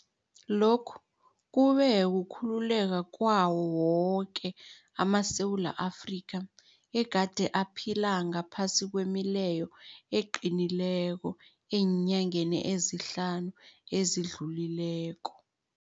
Lokhu kube kukhululeka kwawo woke amaSewula Afrika egade aphila ngaphasi kwemileyo eqinileko eenyangeni ezihlanu ezidlulileko.